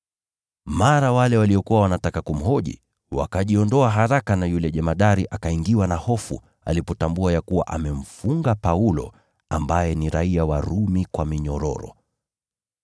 Mara wale waliokuwa wanataka kumhoji wakajiondoa haraka, naye yule jemadari akaingiwa na hofu alipotambua ya kuwa amemfunga Paulo, ambaye ni raia wa Rumi, kwa minyororo.